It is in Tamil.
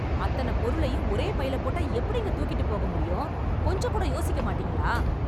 அத்தனப் பொருளையும் ஒரே பைல போட்டா எப்படிங்க தூக்கிட்டுப் போக முடியும்? கொஞ்சம் கூட யோசிக்க மாட்டீங்களா?